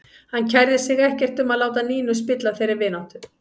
Hann kærði sig ekkert um að láta Nínu spilla þeirri vináttu.